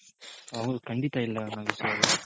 ಹೌದು ಖಂಡಿತ ಇಲ್ಲ ನಾಗೇಶ್ ಅವ್ರೆ